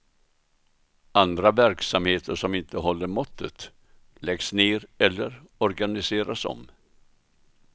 Andra verksamheter som inte håller måttet läggs ner eller organiseras om.